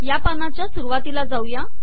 या पानाच्या सुरवातीला जाऊया